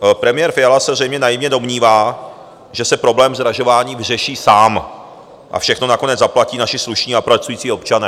Premiér Fiala se zřejmě naivně domnívá, že se problém zdražování vyřeší sám - a všechno nakonec zaplatí naši slušní a pracující občané.